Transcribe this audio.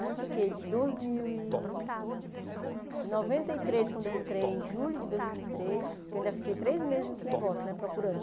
Eu fiquei de dois mil e de noventa e três, quando eu entrei, em julho de dois mil e três, porque eu ainda fiquei três meses nesse negócio né, procurando.